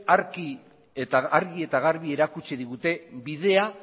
argi eta garbi erakutsi digute bidea